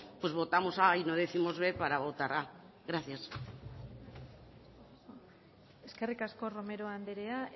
pues votamos a y no décimos b para votar a gracias eskerrik asko romero anderea